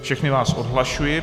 Všechny vás odhlašuji.